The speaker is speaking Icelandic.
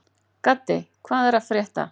Gaddi, hvað er að frétta?